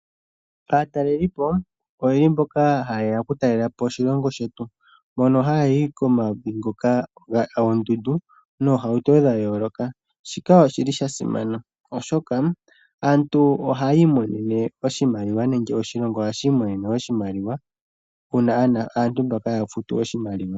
Aatalelipo ohaye ya okutalela po oshilongo shetu, mono haya yi komavi ngoka goondundu noohauto dha yooloka . Shika osha simana, oshoka aantu ohaya imonene oshimaliwa nenge oshilongo ohashi imonene oshimaliwa uuna aantu mbaka ya futu oshimaliwa.